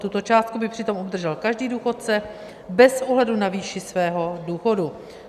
Tuto částku by přitom obdržel každý důchodce bez ohledu na výši svého důchodu.